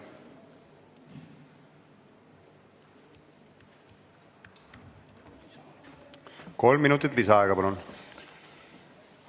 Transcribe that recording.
Kolm minutit lisaaega, palun!